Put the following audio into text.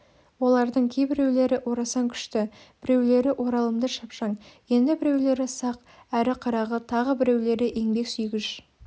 олардың кейбіреулері орасан күшті біреулері оралымды шапшаң енді біреулері сақ әрі қырағы тағы біреулері еңбек сүйгіш